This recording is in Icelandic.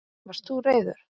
Varst þú reiður?